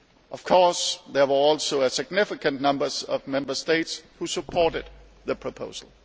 Of course, there were also a significant number of Member States who supported the proposal.